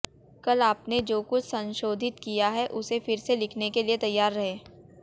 कल आपने जो कुछ संशोधित किया है उसे फिर से लिखने के लिए तैयार रहें